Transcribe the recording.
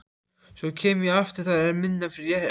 Svo kem ég aftur, það er minn réttur.